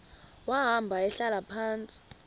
wahamba ehlala phantsi